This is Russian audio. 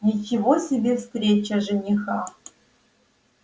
ничего себе встреча жениха